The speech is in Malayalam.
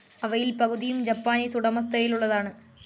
അവയിൽ പകുതിയും ജാപ്പനീസ് ഉടമസ്ഥതയിലുള്ളതാന്.